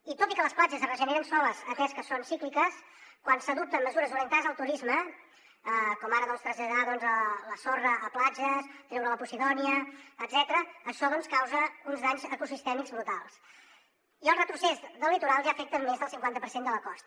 i tot i que les platges es regeneren soles atès que són cícliques quan s’adopten mesures orientades al turisme com ara traslladar la sorra a platges treure la posidònia etcètera això doncs causa uns danys ecosistèmics brutals i el retrocés del litoral ja afecta més del cinquanta per cent de la costa